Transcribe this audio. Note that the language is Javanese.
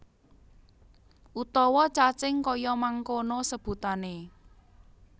Utawa cacing kaya mangkono sebutané